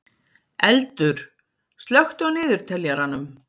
Eldur, slökktu á niðurteljaranum.